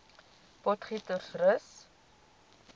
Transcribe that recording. potgietersrus